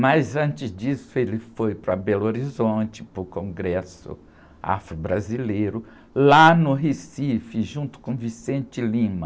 Mas antes disso, ele foi para Belo Horizonte, para o Congresso Afro-Brasileiro, lá no Recife, junto com,